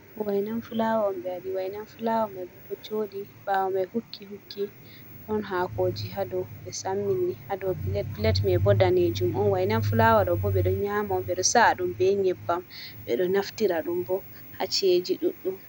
Wainan fulawa omɓe wadi wainan fulawo mai bo ɗo jodi bawo mai hukki-hukki ɗon hakoji hadow, ɓe sammi ni hadow plate mai bo danejum on. Wainan fulawa ɗo bo ɓeɗo nyama on ɓeɗo sa’a ɗum be nyeɓbam ɓeɗo naftira ɗum bo ha ci'eji ɗuɗɗum.